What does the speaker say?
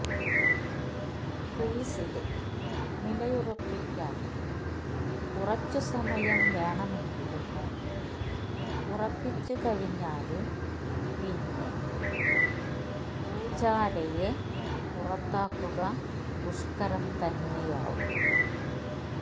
ക്രീസില് നിലയുറപ്പിക്കാന് കുറച്ചു സമയം വേണമെങ്കിലും ഉറപ്പിച്ചു കഴിഞ്ഞാല് പിന്നെ പുജാരയെ പുറത്താകുക ദുഷ്കരം തന്നെയാവും